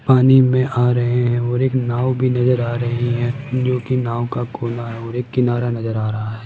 पानी में आ रहे है और एक नाव भी नजर आ रही है जोकि नाव का कोना है और एक किनारा नजर आ रहा--